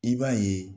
I b'a ye